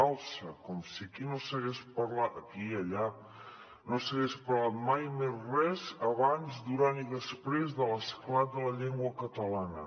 alça com si aquí no s’hagués parlat aquí i allà mai més res abans durant i després de l’esclat de la llengua catalana